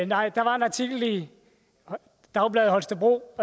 nej der var en artikel i dagbladet holstebro